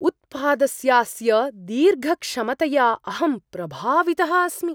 उत्पादस्यास्य दीर्घक्षमतया अहं प्रभावितः अस्मि।